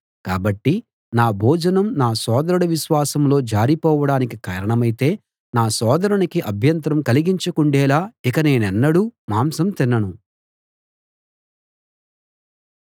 కాబట్టి నా భోజనం నా సోదరుడు విశ్వాసంలో జారిపోవడానికి కారణమైతే నా సోదరునికి అభ్యంతరం కలిగించకుండేలా ఇక నేనెన్నడూ మాంసం తినను